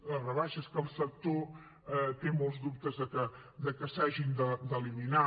les rebaixes que el sector té molts dubtes de que s’hagin d’eliminar